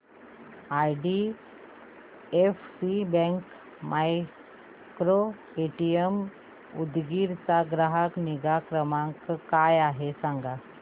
IDFC bank micro ATM Udgir चा ग्राहक निगा क्रमांक काय आहे सांगा